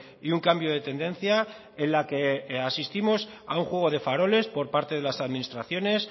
y un cambio de tendencia en la que asistimos a un juego de faroles por parte de las administraciones